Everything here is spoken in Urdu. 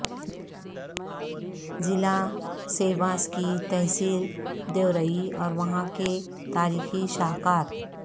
ضلع سیواس کی تحصیل دیوریعی اور وہاں کے تاریخی شاہکار